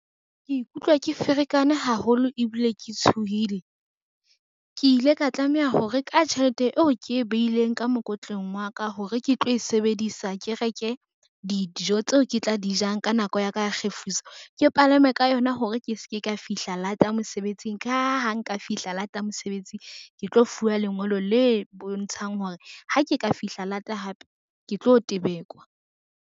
Ke ikutlwa ke ferekane haholo ebile ke tshohile. Ke ile ka tlameha hore ka tjhelete eo ke e beileng ka mokotleng wa ka hore ke tlo e sebedisa, ke reke dijo tseo ke tla di jang ka nako ya ka ya kgefutso ke palame ka yona hore ke se ke ka fihla lata mosebetsing ka ha ha nka fihla lata mosebetsing, ke tlo fuwa lengolo le bontshang hore ha ke ka fihla lata hape, ke tlo tebekwa.